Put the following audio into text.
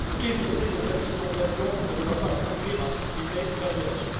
Éviter les accidents d'avion ne doit pas conduire à supprimer l'aviation.